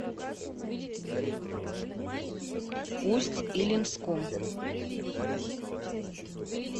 усть илимском